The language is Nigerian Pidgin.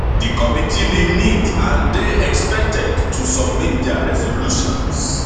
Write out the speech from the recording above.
di committee bin meet and dey expected to submit dia resolutions